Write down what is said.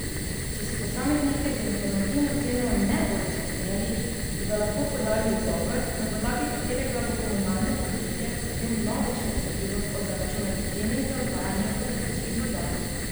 Če se posamezniki z informativno ceno ne bodo strinjali, bodo lahko podali ugovor, na podlagi katerega bo komunalno podjetje potem vnovič presodilo o zaračunani ceni za odvajanje padavinskih voda.